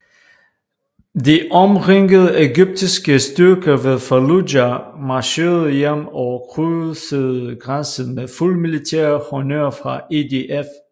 De omringede egyptiske styrker ved Faluja marcherede hjem og krydsede grænsen med fuld militær honnør fra IDF